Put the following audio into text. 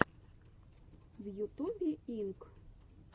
в ютубе инк